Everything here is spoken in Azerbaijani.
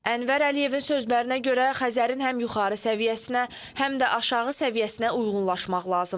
Ənvər Əliyevin sözlərinə görə Xəzərin həm yuxarı səviyyəsinə, həm də aşağı səviyyəsinə uyğunlaşmaq lazımdır.